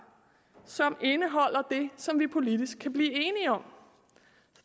som indeholder det som vi politisk kan blive enige om